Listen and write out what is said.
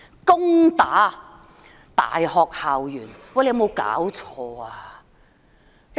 攻打大學校園，有沒有搞錯？